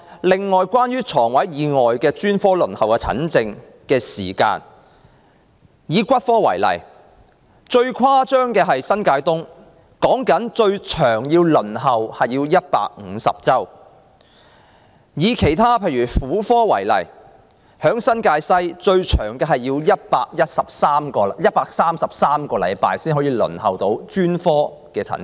輪候專科門診的時間，以骨科為例，最誇張的是新界東，最長要150周，婦科方面，新界西最長要等133周才可預約診症。